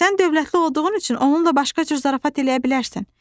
Sən dövlətli olduğun üçün onunla başqa cür zarafat eləyə bilərsən.